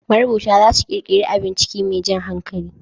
Marubuta za su ƙirƙiri abun ciki mai jan hankali